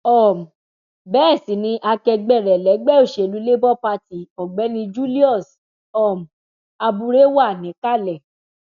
um bẹẹ sì ni akẹgbẹ rẹ lẹgbẹ òsèlú labour party ọgbẹni julius um abure wà níkàlẹ